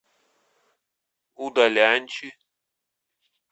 удаляньчи